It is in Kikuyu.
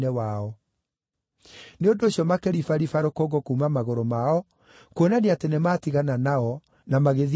Nĩ ũndũ ũcio makĩribariba rũkũngũ kuuma magũrũ mao kuonania, atĩ nĩmatigana nao na magĩthiĩ Ikonia.